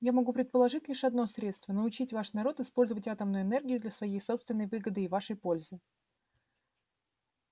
я могу предложить лишь одно средство научить ваш народ использовать атомную энергию для своей собственной выгоды и вашей пользы